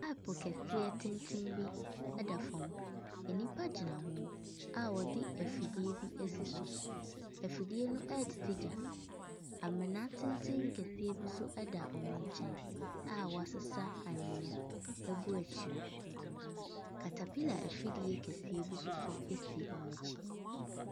Pipe kɛseɛ tenten bi da fam, nnipa gyina ho a wɔde afidie bi asi so, afidie no ɛretete gya, amona tenten kɛseɛ bi nso da wɔn nkyɛn a wɔasesa anwea agu akyire. Caterpillar afidie kɛseɛ bi nso si wɔn akyi.